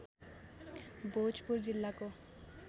भोजपुर जिल्लाको